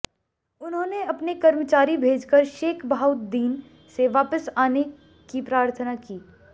उन्होंने अपने कर्मचारी भेजकर शेख बहाउद्दीन से वापस आने की प्रार्थना की